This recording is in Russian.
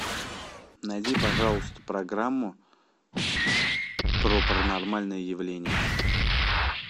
найди пожалуйста программу про паранормальные явления